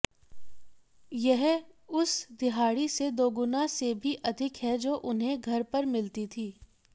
यह उस दिहाड़ी से दोगुना से भी अधिक है जो उन्हें घर पर मिलती थी